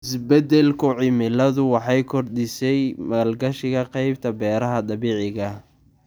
Isbeddelka cimiladu waxay kordhisay maalgashiga qaybta beeraha dabiiciga ah.